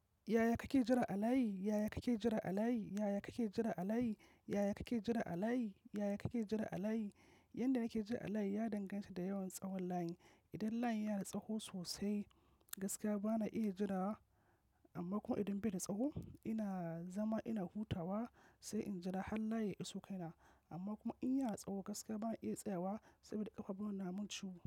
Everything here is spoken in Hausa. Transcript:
Yaya kake jira alayi? Yaya kake jira alayi? Yaya kake jira alayi? Yaya kake jira alayi? Yaya kake jira alayi? Yanda nake jira alayi ya danganta da yawan tsawon layin. Idan layi yana da tsaho sosai, gaskiya bana iya jira wa. Amma kuma idan bai da tsaho, ina zama ina hutawa sai in jira har layi ya iso kaina. Amma kuma in yi a tsaho gaskiya bana iya tsayawa saboda ƙafa nuna mun ciwo.